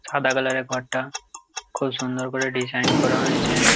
সাদা কালারের ঘরটা খুব সুন্দর করে ডিসাইন করা রয়েছে।